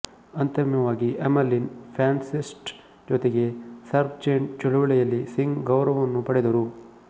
ಅಂತಿಮವಾಗಿ Emmeline Pankhurst ಜೊತೆಗೆ suffragette ಚಳುವಳಿಯಲ್ಲಿ ಸಿಂಗ್ ಗೌರವವನ್ನು ಪಡೆದರು